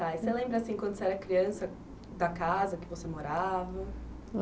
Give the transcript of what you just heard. Você lembra assim, quando você era criança, da casa que você morava?